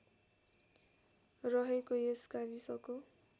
रहेको यस गाविसको